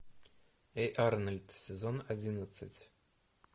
эй арнольд сезон одиннадцать